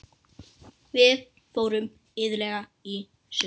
Við fórum iðulega í sund.